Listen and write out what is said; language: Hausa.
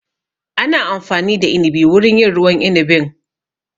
Ana amfani da inibi wurin yin ruwan inibin